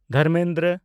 Dharmendra